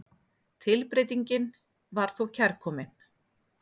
Tilbreytingin var þó kærkomin.